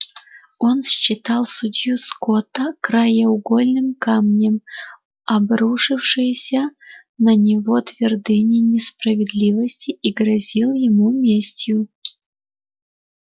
он считал судью скотта краеугольным камнем обрушившейся на него твердыни несправедливости и грозил ему местью